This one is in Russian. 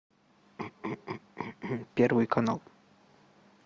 первый канал